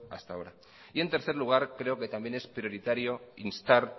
hasta ahora y en tercer lugar creo que también es prioritario instar